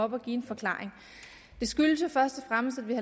op og give en forklaring det skyldes jo først og fremmest at vi